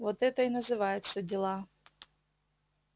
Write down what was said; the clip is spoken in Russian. вот это и называется дела